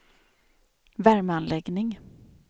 värmeanläggning